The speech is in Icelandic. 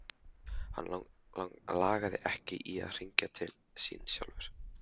Hann lagði ekki í að hringja til þín sjálfur.